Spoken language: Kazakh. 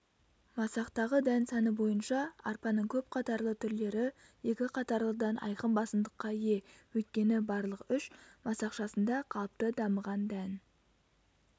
масақтағы дән саны бойынша арпаның көп қатарлы түрлері екі қатарлыдан айқын басымдыққа ие өйткені барлық үш масақшасында қалыпты дамыған дән